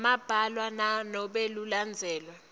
lambalwa nanobe kulandzelwe